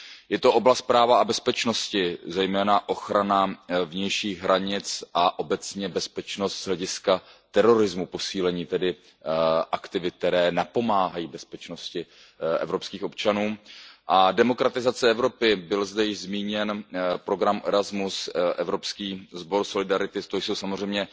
Je to oblast práva a bezpečnosti, zejména ochrana vnějších hranic a obecně bezpečnost z hlediska terorismu, posílení aktivit, které napomáhají bezpečnosti evropských občanů. K demokratizaci Evropy byl zde již zmíněn program Erasmus, evropský sbor solidarity, to jsou samozřejmě